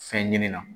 Fɛn ɲini na